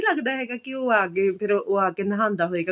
ਲੱਗਦਾ ਹੈਗਾ ਕੀ ਉਹ ਆਗੇ ਫਿਰ ਉਹ ਆ ਕੇ ਨਹਾਉਂਦਾ ਹੋਏਗਾ